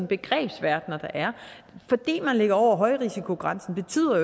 begrebsverdener der er fordi man ligger over højrisikogrænsen betyder